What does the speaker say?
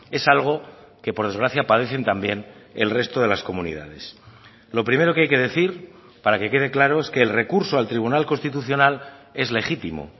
es algo que por desgracia padecen también el resto de las comunidades lo primero que hay que decir para que quede claro es que el recurso al tribunal constitucional es legítimo